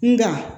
Nga